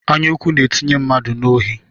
anyaụkwụ na-etinye mmadụ n'ohi